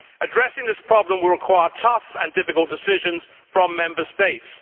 Addressing this problem will require tough and difficult decisions from Member States.